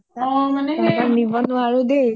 অ অ মানে সেই আৰু